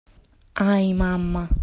ай мама